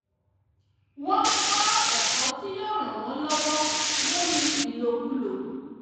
wọ́n ń kó ẹ̀kọ́ tí yóò ran wọn lọwọ lórí ìlòkulò